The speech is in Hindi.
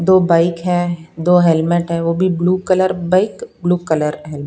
दो बाइक है दो हेलमेट हैवो भी blue colour bike blue colour है।